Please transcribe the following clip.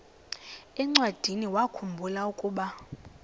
encwadiniwakhu mbula ukuba